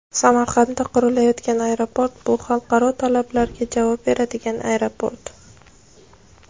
Samarqandda qurilayotgan aeroport – bu xalqaro talablarga javob beradigan aeroport.